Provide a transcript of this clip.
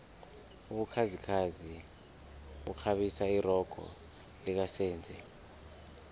ubukhazikhazi bukghabisa irogo lika senzi